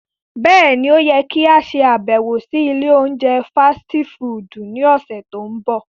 Bẹ́ẹ̀ni, o yẹ ki a ṣabẹwo si ile ounjẹ fasiti fudu ni ọsẹ to nbọ.